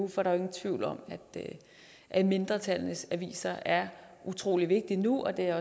for der er ingen tvivl om at mindretallenes aviser er utrolig vigtige nu og det er